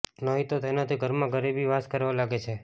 નહી તો તેનાથી ઘરમાં ગરીબી વાસ કરવા લાગે છે